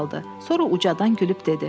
Sonra ucadan gülüb dedi.